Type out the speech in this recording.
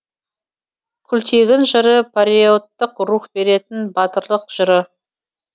күлтегін жыры париоттық рух беретін батырлық жыры